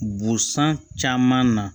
Busan caman na